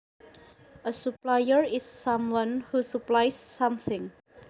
A supplier is someone who supplies something